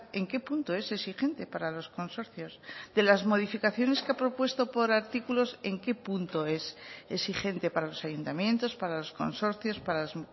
en qué punto es exigente para los consorcios de las modificaciones que ha propuesto por artículos en qué punto es exigente para los ayuntamientos para los consorcios para las